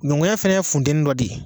Nɔngɔnya fana ye funteni dɔ de ye.